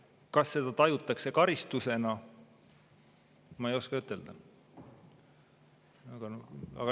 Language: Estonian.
Kas seda tajutakse karistusena, ma ei oska ütelda.